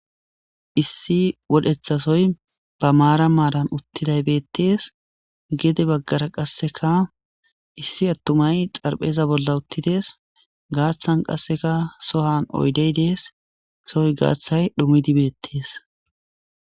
Issi wodheththasoy be marani marani uttidayis betees gede bagara qasekka issi adeyi xaraphpheza bola uttidees gaththani qasekka sohan oyideyi dees sowa gaththay dhumid betees